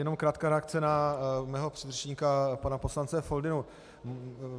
Jen krátká reakce na mého předřečníka pana poslance Foldynu.